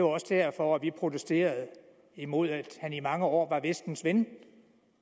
også derfor vi protesterede imod at han i mange år var vestens ven